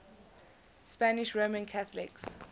spanish roman catholics